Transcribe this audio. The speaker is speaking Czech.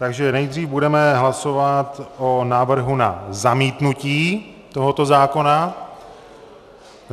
Takže nejdřív budeme hlasovat o návrhu na zamítnutí tohoto zákona.